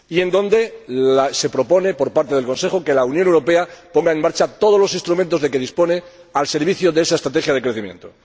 donde se propone, por parte del Consejo, que la Unión Europea ponga en marcha todos los instrumentos de que dispone al servicio de esa estrategia de crecimiento.